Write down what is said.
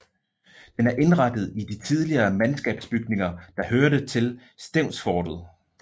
Den er indrettet i de tidligere mandskabsbygninger der hørte til Stevnsfortet